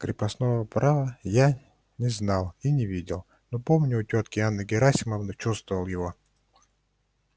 крепостного права я не знал и не видел но помню у тётки анны герасимовны чувствовал его